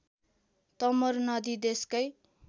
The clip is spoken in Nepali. तमोर नदी देशकै